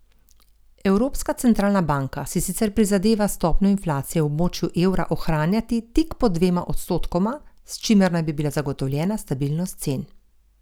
Evropska centralna banka si sicer prizadeva stopnjo inflacije v območju evra ohranjati tik pod dvema odstotkoma, s čimer naj bi bila zagotovljena stabilnost cen.